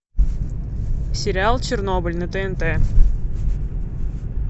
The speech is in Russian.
сериал чернобыль на тнт